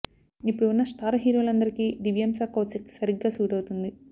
ఇప్పుడు ఉన్న స్టార్ హీరోలందరికీ దివ్యాంశ కౌశిక్ సరిగ్గా సూట్ అవుతుంది